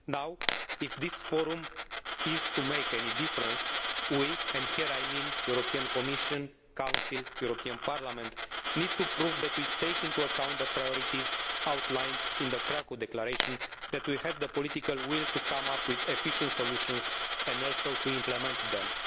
Now, if this Forum is to make any difference, we and here I mean the Commission, the Council and the European Parliament need to prove that we take into account the priorities outlined in the Krakow Declaration and that we have the political will to come up with efficient solutions and also to implement them.